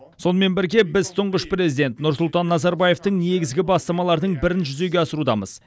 сонымен бірге біз тұңғыш президент нұрсұлтан назарбаевтың негізгі бастамалардың бірін жүзеге асырудамыз